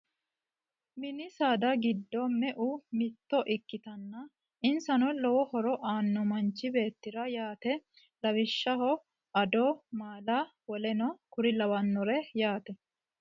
Mini saada giddo meu mitto ikkitanna insano lowo horo aanno manchi beettira yaate lawishshaho ado, maala, woleno kuri lawannore yaate